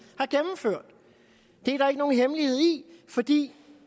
har ikke nogen hemmelighed i fordi